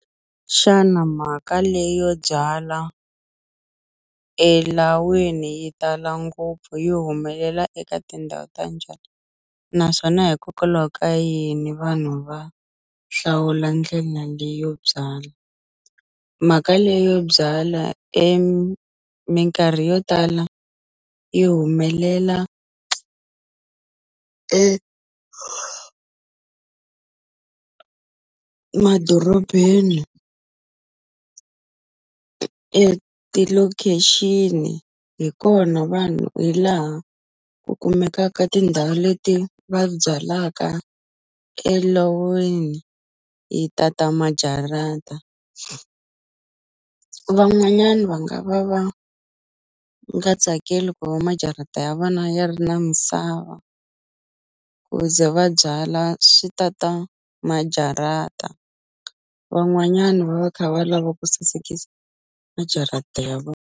Xana mhaka leyo byala elawini yi tala ngopfu yi humelela eka tindhawu ta njhani naswona hikokwalaho ka yini vanhu va hlawula ndlela leyo byala mhaka leyo byala minkarhi yo tala yi humelela emadorobeni eti-location hi kona vanhu hi laha ku kumekaka tindhawu leti va byalaka elawini yi tata majarata van'wanyani va nga va nga tsakeli ku va majarata ya vona ya ri na misava ku ze va byala swi ta ta majarata van'wanyani va va kha va lava ku sasekisa majarata ya .